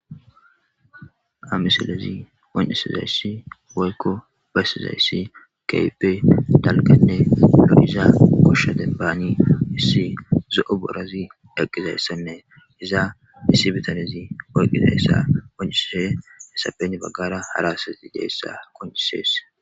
Amisalezi on'esizayssi woykko basizayssi keype dalkanne lodiza gosho denbaani issi zo'o borazi dhaqqizayssenne iza issi bitanizi worqizayssa woncisehe hesapeni baggara harasati deessa koncisees.